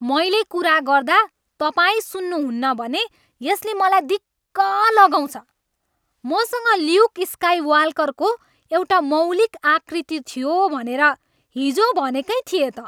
मैले कुरा गर्दा तपाईँ सुन्नुहुन्न भने यसले मलाई दिक्क लगाउँछ। मसँग ल्युक स्काइवाल्करको एउटा मौलिक आकृति थियो भनेर हिजो भनेकै थिएँ त।